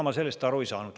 Ega ma sellest aru ei saanud.